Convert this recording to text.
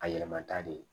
A yɛlɛmata de